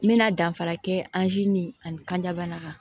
N bɛna danfara kɛ ani kanjabana kan